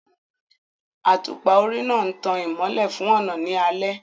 Àtùpà orí náà ń tan ìmọ́lẹ̀ fún ọ̀nà ní alẹ́